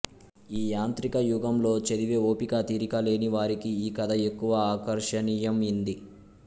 ఈ యాంత్రిక యుగంలో చదివే వోపిక తీరిక లేని వారికీ ఈ కథ ఎక్కువ ఆకర్షనియంయింది